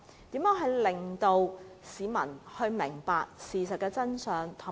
應如何令市民明白事情的真相？